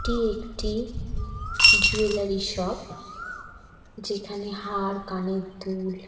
এটি একটি jewellery shop যেখানে হার কানের দুল।